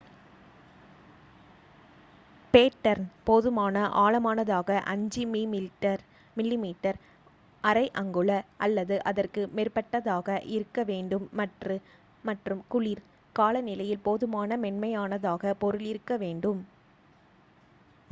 pattern போதுமான ஆழமானதாக 5 மிமீ 1/5 அங்குல அல்லது அதற்கு மேற்பட்டதாக இருக்க வேண்டும் மற்றும் குளிர் காலநிலையில் போதுமான மென்மையானதாக பொருள் இருக்க வேண்டும்